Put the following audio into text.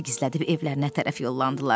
gizlədib evlərinə tərəf yollandılar.